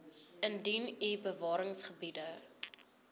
indien u bewaringsgebiede